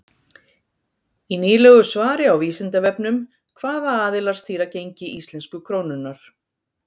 í nýlegu svari á vísindavefnum hvaða aðilar stýra gengi íslensku krónunnar